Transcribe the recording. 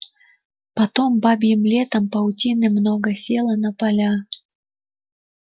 потом бабьим летом паутины много село на поля